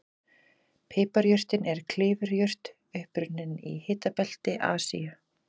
Piparjurtin er klifurjurt upprunnin í hitabelti Asíu.